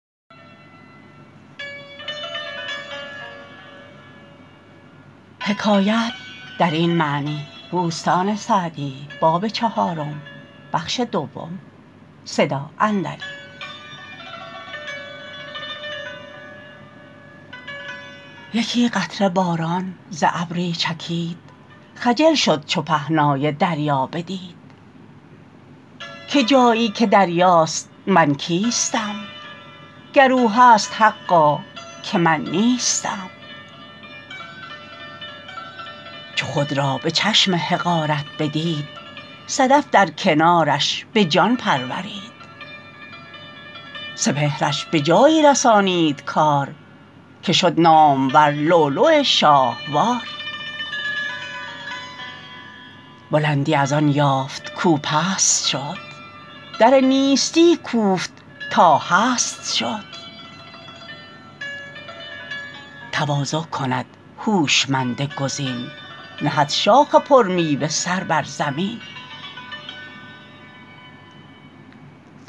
یکی قطره باران ز ابری چکید خجل شد چو پهنای دریا بدید که جایی که دریاست من کیستم گر او هست حقا که من نیستم چو خود را به چشم حقارت بدید صدف در کنارش به جان پرورید سپهرش به جایی رسانید کار که شد نامور لؤلؤ شاهوار بلندی از آن یافت کاو پست شد در نیستی کوفت تا هست شد تواضع کند هوشمند گزین نهد شاخ پر میوه سر بر زمین